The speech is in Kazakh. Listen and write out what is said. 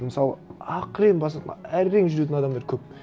мысалы ақырын басатын әрең жүретін адамдар көп